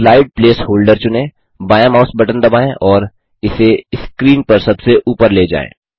slide placeholder चुनें बायाँ mouse button दबाएँ और इसे स्क्रीन पर सबसे ऊपर ले जाएँ